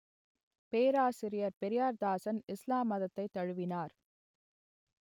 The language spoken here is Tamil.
பேராசிரியர் பெரியார்தாசன் இஸ்லாம் மதத்தைத் தழுவினார்